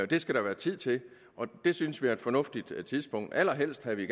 det skal der være tid til og det synes vi er et fornuftigt tidspunkt allerhelst havde vi